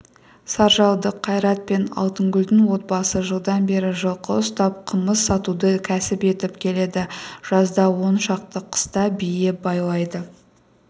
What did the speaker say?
саржалдық қайрат пен алтынгүлдің отбасы жылдан бері жылқы ұстап қымыз сатуды кәсіп етіп келеді жазда он шақты қыста бие байлайды